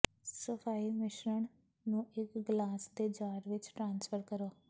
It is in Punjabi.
ਸਫਾਈ ਮਿਸ਼ਰਣ ਨੂੰ ਇੱਕ ਗਲਾਸ ਦੇ ਜਾਰ ਵਿੱਚ ਟ੍ਰਾਂਸਫਰ ਕਰੋ